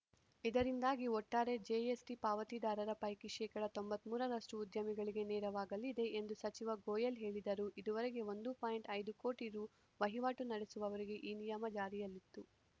ಇದರಿಂದಾಗಿ ಒಟ್ಟಾರೆ ಜಿಎಸ್‌ಟಿ ಪಾವತಿದಾರರ ಪೈಕಿ ಶೇಕಡಾ ತೊಂಬತ್ತ್ ಮೂರರಷ್ಟುಉದ್ಯಮಿಗಳಿಗೆ ನೆರವಾಗಲಿದೆ ಎಂದು ಸಚಿವ ಗೋಯೆಲ್‌ ಹೇಳಿದರು ಇದುವರೆಗೆ ಒಂದು ಐದು ಕೋಟಿ ರು ವಹಿವಾಟು ನಡೆಸುವವರಿಗೆ ಈ ನಿಯಮ ಜಾರಿಯಲ್ಲಿತ್ತು